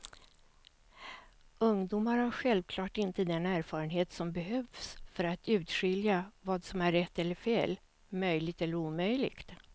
Ungdomar har självklart inte den erfarenhet som behövs för att urskilja vad som är rätt eller fel, möjligt eller omöjligt.